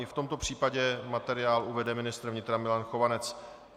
I v tomto případě materiál uvede ministr vnitra Milan Chovanec.